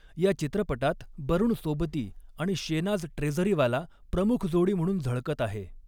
या चित्रपटात बरूण सोबती आणि शेनाझ ट्रेझरीवाला प्रमुख जोडी म्हणून झळकत आहे.